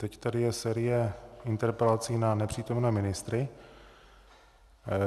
Teď tady je série interpelací na nepřítomné ministry.